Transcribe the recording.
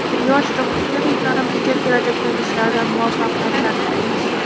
Yosh robototexniklarimizga kelajakdagi ishlarida muvaffaqiyatlar tilaymiz!